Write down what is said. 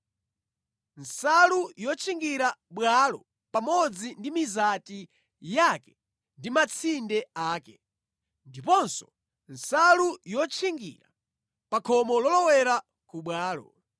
nsalu yotchingira bwalo pamodzi ndi mizati yake ndi matsinde ake, ndiponso nsalu yotchingira pa khomo lolowera ku bwalo;